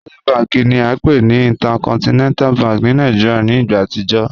Access bank ni a npe ni Intercontinental bank ti Nigeria ni igba atijọ